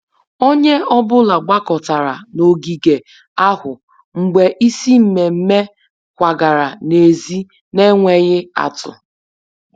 Onye ọ bụla gbakọtara n'ogige ahụ mgbe isi mmemmé kwagara n'èzí n'enweghị atụ